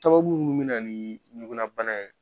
Sababu minnu bɛ na ni ɲugulabana ye